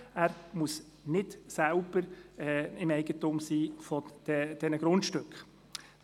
Er muss nicht selbst Eigentümer dieser Grundstücke sein.